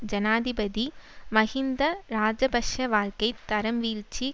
ஜனாதிபதி மஹிந்த இராஜபக்ஷ வாழ்க்கை தரம் வீழ்ச்சி